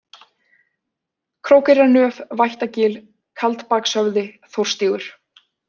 Krókeyrarnöf, Vættagil, Kaldbakshöfði, Þórsstígur